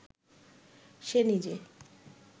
সে নিজে